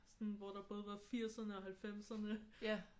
Sådan hvor der både var firserne og halvfemserne